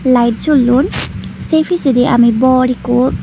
lite jollon sei pijendi aami bor ekko.